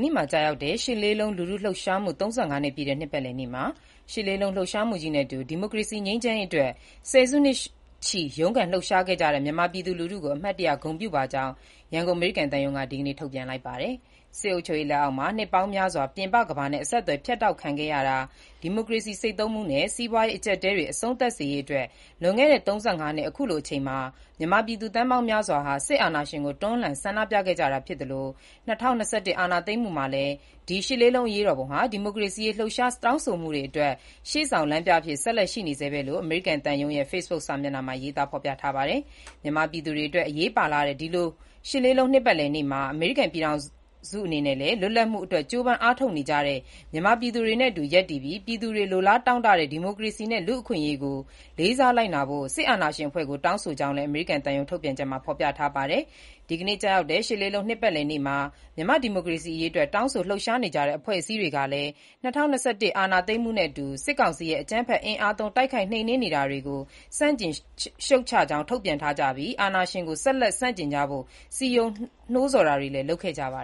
နေ့မှာ ကျရောက်တဲ့ ရှစ်လေးလုံးလူထုလှုပ်ရှားမှု ၃၅ နှစ်ပြည့်တဲ့ နှစ်ပတ်လည်နေ့မှာ ရှစ်လေးလုံး လှုပ်ရှားမှုကြီးနဲ့အတူ ဒီမိုကရေစီနဲ့ ငြိမ်းချမ်းရေးအတွက် ဆယ်စုနှစ်ချီ ရုန်းကန် လှုပ်ရှားခဲ့ကြတဲ့ မြန်မာပြည်သူလူထုကို အမှတ်ရ ဂုဏ်ပြုပါကြောင်း ရန်ကုန် အမေရိကန်သံရုံးက ဒီကနေ့ ထုတ်ပြန်ပါတယ်။ စစ်အုပ်ချုပ်ရေး လက်အောက်မှာ နှစ်ပေါင်းများစွာ ပြင်ပကမ္ဘာနဲ့ အဆက်အသွယ် ဖြတ်တောက်ခံခဲ့ရတာ၊ ဒီမိုကရေစီ ဆိတ်သုဥ်းမှုနဲ့ စီးပွားရေး အကျပ်အတည်းတွေ အဆုံးသတ်စေရေး တို့အတွက် လွန်ခဲ့တဲ့ ၃၅ နှစ်၊ ၁၉၈၈ ခုနှစ် သြဂုတ်လ ၈ ရက်နေ့မှာ မြန်မာပြည်သူ သန်းပေါင်းများစွာဟာ စစ်အာဏာရှင်ကို တွန်းလှန် ဆန္ဒပြခဲ့ကြတာ ဖြစ်ပြီး ဒီလို လူထုဆန္ဒပြပွဲကြီးကို စစ်တပ်က အင်အားသုံး အကြမ်းဖက် နှိမ်နင်းခဲ့ပေမဲ့လို့လည်း၊ ရှစ်လေးလုံး အရေးတော်ပုံကြီးဟာ ၂၀၂၁ အာဏာသိမ်းမှု နောက်ပိုင်း ခုချိန်ထိလည်း ဒီမိုကရေစီရေး လှုပ်ရှား တောင်းဆိုမှုတွေ အတွက် ရှေ့ဆောင်လမ်းပြအဖြစ် ဆက်လက် ရှိနေဆဲပဲလို့ အမေရိကန် သံရုံးရဲ့ Facebook စာမျက်နှာမှာ ရေးသား ဖော်ပြထားတာပါ။ မြန်မာပြည်သူတွေအတွက် အရေးပါလှတဲ့ ဒီနေ့လို ရှစ်လေးလုံး နှစ်ပတ်လည်နေ့မှာ အမေရိကန်ပြည်ထောင်စု အနေနဲ့လည်း လွတ်လပ်မှုအတွက် ကြိုးပမ်း အားထုတ်နေကြတဲ့ မြန်မာပြည်သူတွေနဲ့အတူ ရပ်တည်ပြီး ပြည်သူတွေ လိုလားတောင့်တတဲ့ ဒီမိုကရေစီနဲ့ လူအခွင့်အရေးတွေကို လေးစားလိုက်နာဖို့ စစ်အာဏာရှင်အဖွဲ့ကို တောင်းဆိုကြောင်းလည်း အမေရိကန် သံရုံး ထုတ်ပြန်ချက်မှာ ဖော်ပြထားပါတယ်။ ဒီကနေ့ ကျရောက်တဲ့ ရှစ်လေးလုံး နှစ်ပတ်လည်နေ့မှာ မြန်မာ့ ဒီမိုကရေစီရေးအတွက် တောင်းဆို လှုပ်ရှားနေကြတဲ့ အဖွဲ့အစည်းတွေကလည်း ၂၀၂၁ အာဏာသိမ်းမှုနဲ့အတူ စစ်ကောင်စီရဲ့ အကြမ်းဖက် အင်အားသုံး တိုက်ခိုက် နှိမ်နင်းနေတာတွေကို ဆန့်ကျင် ရှုတ်ချကြောင်း ထုတ်ပြန်ထားကြပြီး အာဏာရှင်ကို ဆက်လက် ဆန့်ကျင်ကြဖို့ စည်းရုံး နှိုးဆော်တာတွေလည်း လုပ်ခဲ့ကြပါ